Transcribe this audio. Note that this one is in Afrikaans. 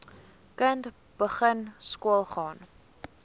kind begin skoolgaan